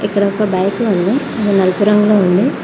ఇక్కడ ఒక బైక్ ఉంది అది నలుపు రంగులో ఉంది చు--